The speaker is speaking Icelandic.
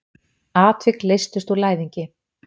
Atvik leystust úr læðingi.